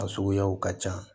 A suguyaw ka ca